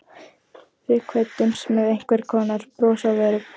Við kvöddumst með einhvers konar bros á vörum.